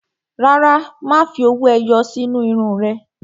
Rárá, má fi owó ẹyọ sí inú irun ún rẹ